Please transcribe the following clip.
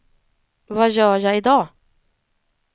vad gör jag idag